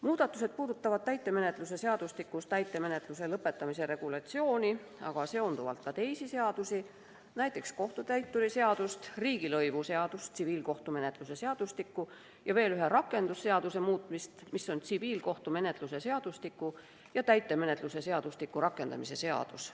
Muudatused puudutavad täitemenetluse seadustikus täitemenetluse lõpetamise regulatsiooni, aga sellega seonduvalt ka teisi seadusi, näiteks kohtutäituri seadust, riigilõivuseadust, tsiviilkohtumenetluse seadustikku ja veel ühte rakendusseadust, mis on tsiviilkohtumenetluse seadustiku ja täitemenetluse seadustiku rakendamise seadus.